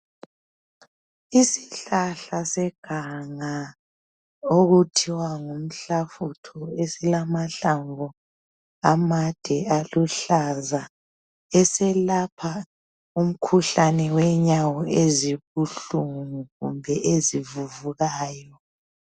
Isihlahla seganga okuthiwa ngumhlafutho, esilamahlamvu amade aluhlaza. Eselapha umkhuhlane wenyawo esibuhlungu kumbe ezivuvukayo.